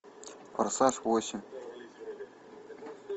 форсаж восемь